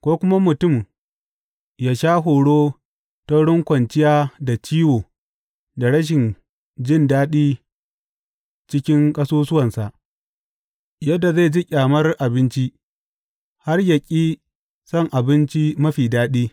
Ko kuma mutum yă sha horo ta wurin kwanciya da ciwo da rashin jin daɗi cikin ƙasusuwansa, yadda zai ji ƙyamar abinci, har yă ƙi son abinci mafi daɗi.